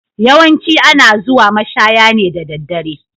Yawancin ana zuwa mashaya ne da daddare.